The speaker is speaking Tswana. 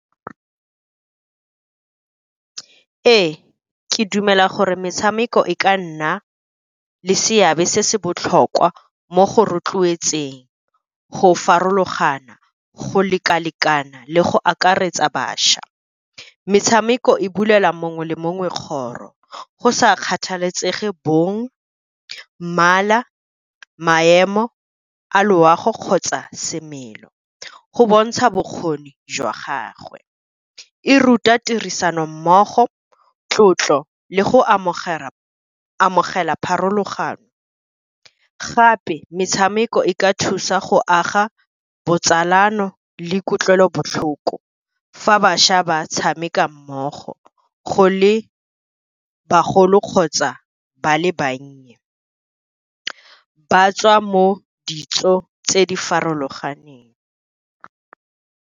Ee, ke dumela gore metshameko e ka nna le seabe se se botlhokwa mo go rotloetseng go farologana go leka-lekana le go akaretsa bašwa. Metshameko e bulela mongwe le mongwe kgoro. Go sa kgathalesege bong, mmala, maemo a loago kgotsa semelo, go bontsha bokgoni jwa gagwe. E ruta tirisano mmogo, tlotlo le go amogela pharologano, gape metshameko e ka thusa go aga botsalano le kutlwelobotlhoko fa bašwa ba tshameka mmogo, go le bagolo kgotsa ba le bannye ba tswa mo ditso tse di farologaneng.